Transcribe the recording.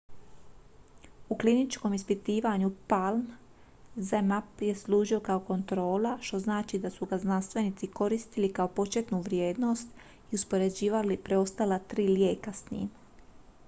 u kliničkom ispitivanju palm zmapp je služio kao kontrola što znači da su ga znanstvenici koristili kao početnu vrijednost i uspoređivali preostala tri lijeka s njim